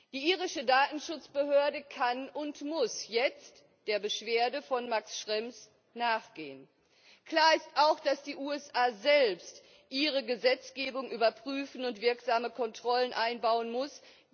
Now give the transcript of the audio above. Die irische Datenschutzbehörde kann und muss jetzt der Beschwerde von Max Schrems nachgehen. Klar ist auch, dass die USA selbst ihre Gesetzgebung überprüfen und wirksame Kontrollen einbauen müssen.